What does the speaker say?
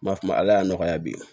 Ba ma ala y'a nɔgɔya bi